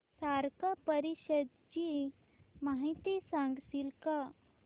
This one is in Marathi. सार्क परिषदेची माहिती सांगशील का